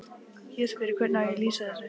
Ég spyr: Hvernig á ég að lýsa þessu?